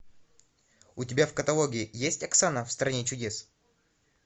у тебя в каталоге есть оксана в стране чудес